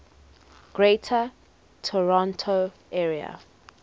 greater toronto area